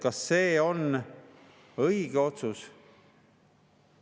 Kas see on õige otsus?